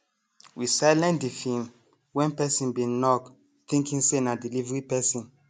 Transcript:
we silent the film when person bin knock thinking say na delivery person